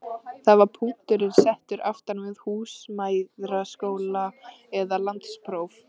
Þar var punkturinn settur aftan við húsmæðraskóla eða landspróf.